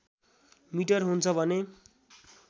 metre हुन्छ भने